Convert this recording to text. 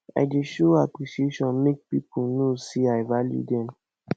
i dey show appreciation make pipo know say i value dem